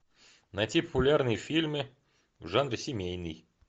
найти популярные фильмы в жанре семейный